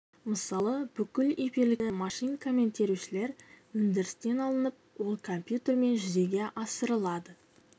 мысалы бүкіл эфирлік мәтіндерді машинкамен терушілер өндірістен алынып ол компьютермен жүзеге асырылады